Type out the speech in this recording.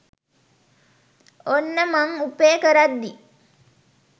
ඔන්න මං උපෙ කරද්දි